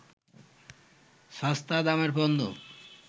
সস্তা দামের পণ্য